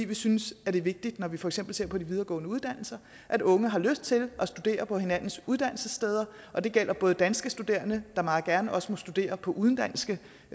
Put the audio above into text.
vi synes at det er vigtigt når vi for eksempel ser på de videregående uddannelser at unge har lyst til at studere på hinandens uddannelsessteder og det gælder både danske studerende der meget gerne også må studere på udenlandske